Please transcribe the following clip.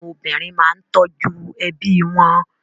Àwọn obìnrin máa ń tọ́jú ẹbí wọn.